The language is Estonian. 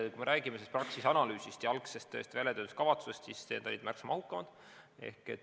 Jah, kui me räägime Praxise analüüsist ja algsest väljatöötamiskavatsusest, siis need olid märksa mahukamad.